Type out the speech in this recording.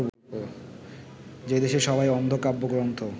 যে দেশে সবাই অন্ধ কাব্যগ্রন্থ